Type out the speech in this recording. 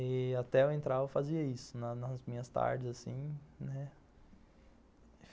E até eu entrar eu fazia isso, nas nas minhas tardes assim, né?